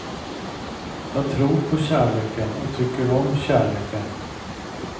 Jag tror på kärleken och tycker om kärleken.